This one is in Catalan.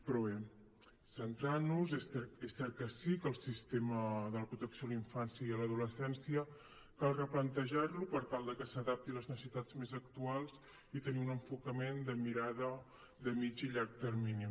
però bé centrant nos és cert que sí que el sistema de la protecció a la infància i a l’adolescència cal replantejar lo per tal de que s’adapti a les necessitats més actuals i tenir un enfocament de mirada de mitjà i llarg termini